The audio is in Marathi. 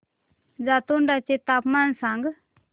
जातोडा चे तापमान सांग